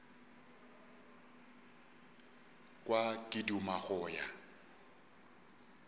kwa ke duma go ya